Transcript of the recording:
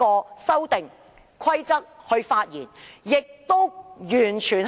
所以，《修訂規則》的生效日期相當重要。